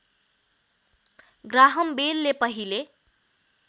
Graham बेलले पहिले